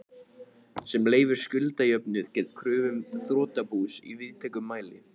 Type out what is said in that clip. sem leyfir skuldajöfnuð gegn kröfum þrotabús í víðtækum mæli.